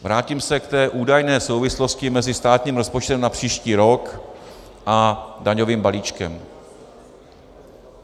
Vrátím se k té údajné souvislosti mezi státním rozpočtem na příští rok a daňovým balíčkem.